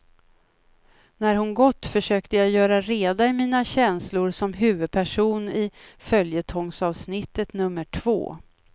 När hon gått, försökte jag göra reda i mina känslor som huvudperson i följetongsavsnittet nr två.